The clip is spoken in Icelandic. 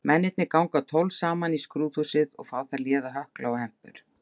Mennirnir ganga tólf saman í skrúðhúsið og fá þar léða hökla og hempur.